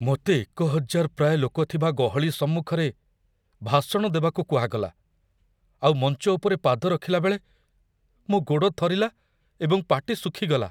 ମୋତେ ୧୦୦୦ ପ୍ରାୟ ଲୋକ ଥିବା ଗହଳି ସମ୍ମୁଖରେ ଭାଷଣ ଦେବାକୁ କୁହାଗଲା, ଆଉ ମଞ୍ଚ ଉପରେ ପାଦ ରଖିଲା ବେଳେ ମୋ ଗୋଡ଼ ଥରିଲା ଏବଂ ପାଟି ଶୁଖି ଗଲା।